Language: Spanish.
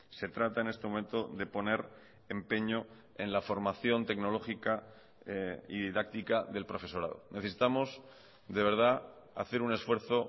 se trata en este momento de poner empeño en la formación tecnológica y didáctica del profesorado necesitamos de verdad hacer un esfuerzo